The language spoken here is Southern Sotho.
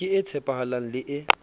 ke e tshepahalang le e